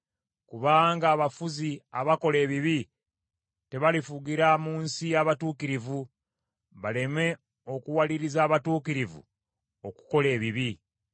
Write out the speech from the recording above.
Kubanga abafuzi abakola ebibi tebalifugira mu nsi y’abatuukirivu, baleme okuwaliriza abatuukirivu okukola ebibi.